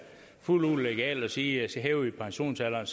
fuldt ud legalt at sige at så hæver vi pensionsalderen